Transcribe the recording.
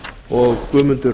og guðmundur